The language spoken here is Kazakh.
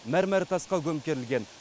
мәрмәр тасқа көмкерілген